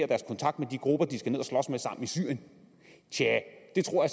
deres kontakt med de grupper de skal i syrien tja det tror